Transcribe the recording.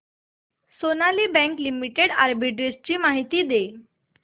Sonali Bank Limited arbitrage माहिती दे